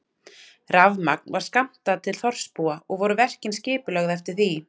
Rafmagn var skammtað til þorpsbúa og voru verkin skipulögð eftir því.